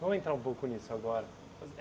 Vamos entrar um pouco nisso agora.